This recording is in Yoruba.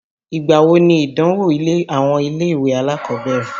Ìgbà wo nìdánwò àwọn ilé-ìwé alákọ̀ọ́bẹ̀rẹ̀?